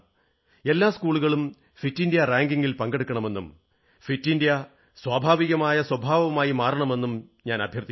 എല്ലാ സ്കൂളുകളും ഫിറ്റിന്ത്യാ റാങ്കിംഗിൽ പങ്കെടുക്കണമെന്നും ഫിറ്റ് ഇന്ത്യ സ്വഭാവികമായ സ്വഭാവമായി മാറണമെന്നും ഞാൻ അഭ്യർഥിക്കുന്നു